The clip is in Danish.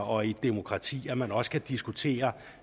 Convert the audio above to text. og i et demokrati at man også kan diskutere